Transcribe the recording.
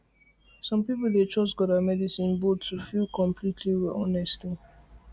some people dey trust god and medicine both to feel completely to feel completely well honestly